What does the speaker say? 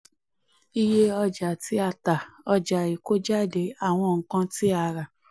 iye ọjà tí a tà: ọjà ìkójáde plus àwọn ǹkan tí a rà.